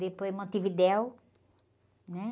Depois Montevidéu, né?